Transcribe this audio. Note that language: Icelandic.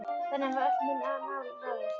Þannig hafa öll mín mál ráðist.